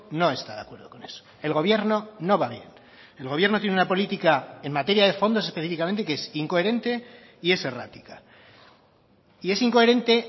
no está de acuerdo con eso el gobierno no va bien el gobierno tiene una política en materia de fondos específicamente que es incoherente y es errática y es incoherente